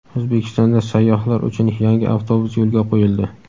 O‘zbekistonda sayyohlar uchun yangi avtobus yo‘lga qo‘yildi.